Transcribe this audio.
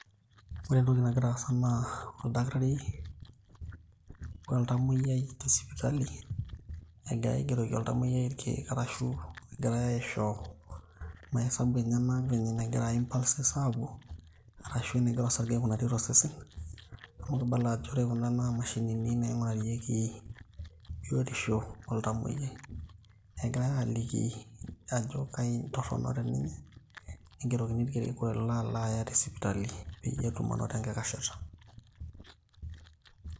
ore entoki nagira aasa naa oldakitari oltamoyiai tesipitali egira aigeroki oltamoyiai irkeek arashu egirae aisho mahesabu enyenak venye enegira impulses apuo arashu enegira osarge aikunari tosesen amu kibala ajo ore kuna naa mashinini naing'urarieki biotisho oltamoyiai, igirae aliki ajo kaji torrono te ninye nigerokini irkeek olo aya tesipitali peyie etum anoto enkikashata.